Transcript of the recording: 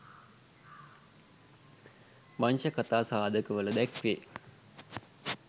වංශ කථා සාධක වල දැක්වේ